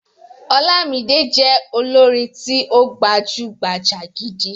Ọlámídé jẹ́ olórin tí ó gbajúgbajà gidi.